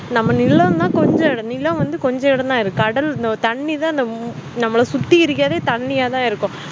நம்ம நிலம் நா கொஞ்சம்இடம்தான் தான் இருக்கு கடல் தண்ணிதான் நம்மால சுத்தி இருக்குறது தண்ணியத்தான் இருக்கும்